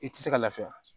I tɛ se ka lafiya